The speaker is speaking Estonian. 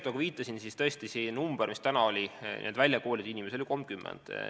Nagu ma viitasin, praegu on väljakoolitatud inimesi 30.